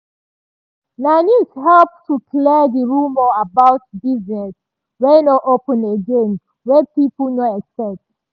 na news help to clear di rumour about business wey nor open again wey pipo nor expect